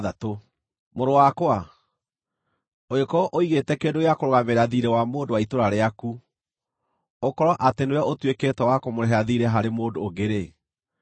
Mũrũ wakwa, ũngĩkorwo ũigĩte kĩndũ gĩa kũrũgamĩrĩra thiirĩ wa mũndũ wa itũũra rĩaku, ũkorwo atĩ nĩwe ũtuĩkĩte wa kũmũrĩhĩra thiirĩ harĩ mũndũ ũngĩ-rĩ,